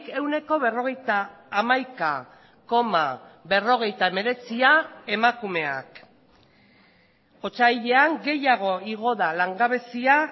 ehuneko berrogeita hamaika koma berrogeita hemeretzia emakumeak otsailean gehiago igo da langabezia